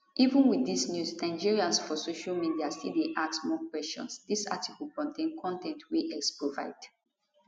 even wit dis news nigerians for social media still dey ask more kwesions dis article contain con ten t wey x provide